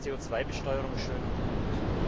CO Besteuerung schön und gut!